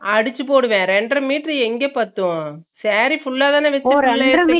அடுச்சு போடுவே ரென்ற மீட்டர் எங்க பத்தும் saree full லா தான